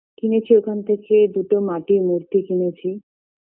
কিনেছি ওখান থেকে দুটো মাটির মূর্তি কিনেছি